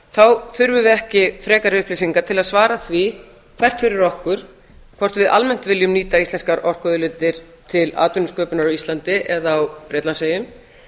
þá þurfum við ekki frekari upplýsingar til að svara því hvert fyrir okkur hvort við almennt viljum nýta íslenskar orkuauðlindir til atvinnusköpunar á íslandi eða á bretlandseyjum